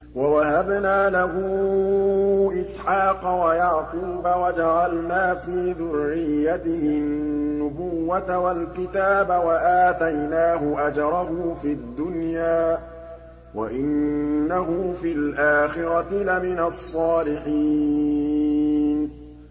وَوَهَبْنَا لَهُ إِسْحَاقَ وَيَعْقُوبَ وَجَعَلْنَا فِي ذُرِّيَّتِهِ النُّبُوَّةَ وَالْكِتَابَ وَآتَيْنَاهُ أَجْرَهُ فِي الدُّنْيَا ۖ وَإِنَّهُ فِي الْآخِرَةِ لَمِنَ الصَّالِحِينَ